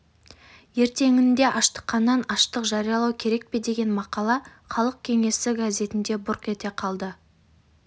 ертеңінде аштыққанан аштық жариялау керек пе деген мақала халық кеңесі газетінде бұрқ ете қалды